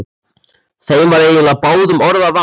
Þeim var eiginlega báðum orða vant.